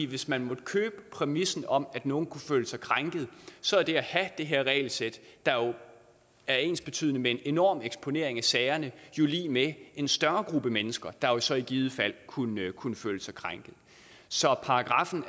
hvis man måtte købe præmissen om at nogle kunne føle sig krænkede så er det at have det her regelsæt der er ensbetydende med en enorm eksponering af sagerne jo lig med en større gruppe mennesker der så i givet fald kunne kunne føle sig krænkede så paragraffen